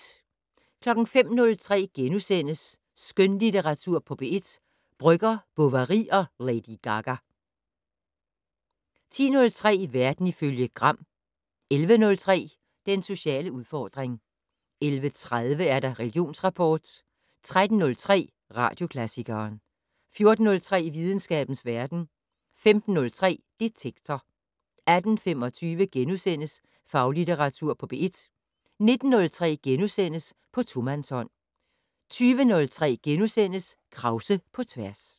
05:03: Skønlitteratur på P1 - Brøgger, Bovary og Lady Gaga * 10:03: Verden ifølge Gram 11:03: Den sociale udfordring 11:30: Religionsrapport 13:03: Radioklassikeren 14:03: Videnskabens verden 15:03: Detektor 18:25: Faglitteratur på P1 * 19:03: På tomandshånd * 20:03: Krause på tværs *